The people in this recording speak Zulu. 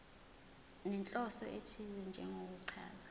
nenhloso ethize njengokuchaza